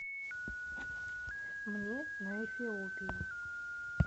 мне на эфиопии